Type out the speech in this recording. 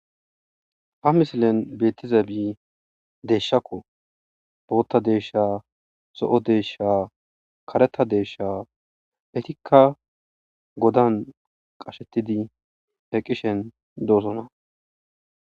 Ha misilen beettiza bii deeshshakko bootta deesha so7o deesha kareta deeshsha hetikka godan qashettidi eqqishen doosona.